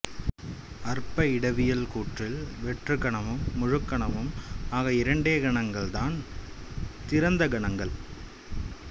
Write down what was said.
அற்ப இடவியல் கூற்றில் வெற்றுக்கணமும் முழுக்கணமும் ஆக இரண்டே கணங்கள் தான் திறந்த கணங்கள்